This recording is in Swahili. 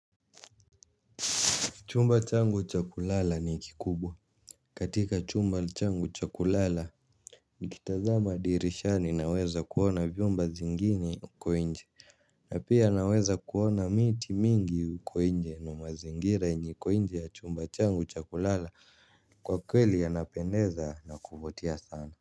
Chumba changu cha kulala ni kikubwa katika chumba changu cha kulala. Nikitazama dirishani naweza kuona vyumba vingine huko nje. Na pia naweza kuona miti mingi huko nje. Na mazingira yenye iko nje ya chumba changu cha kulala. Kwa kweli yanapendeza na kuvutia sana.